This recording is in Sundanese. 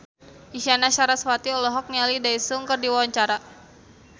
Isyana Sarasvati olohok ningali Daesung keur diwawancara